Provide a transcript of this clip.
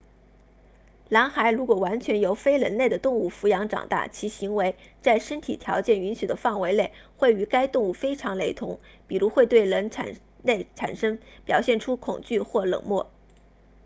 狼孩如果完全由非人类的动物抚养长大其行为在身体条件允许的范围内会与该动物非常雷同比如会对人类表现出恐惧或冷漠